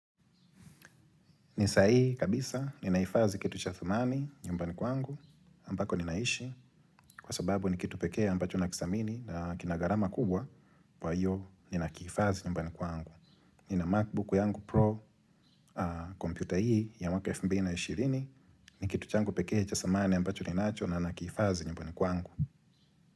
Ni sahihi kabisa, nina hifadhi kitu cha thamani nyumbani kwangu, ambako ninaishi, kwa sababu ni kitu pekee ambacho nakidhamini na kina gharama kubwa, kwa hiyo nina ki hifadhii nyumbani kwangu. Nina Macbook yangu Pro, computer hii ni ya waka elfu mbili na ishirini, ni kitu changu pekee cha dhamani ambacho nanicho na nakihifadhi nyumbani kwangu.